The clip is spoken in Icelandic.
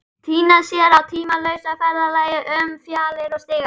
Týna sér á tímalausa ferðalagi um fjalir og stiga.